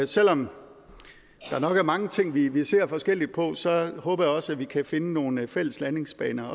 selv om der nok er mange ting vi vi ser forskelligt på så håber jeg også at vi kan finde nogle fælles landingsbaner